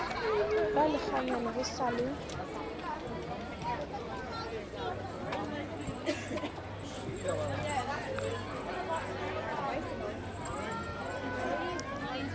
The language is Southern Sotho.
ba lekganyane ho sa le